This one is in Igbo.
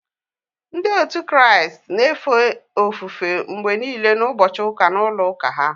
Ndị otu Kraịst na-efe ofufe mgbe nile n'ụbọchị ụka n’ulo ụka ha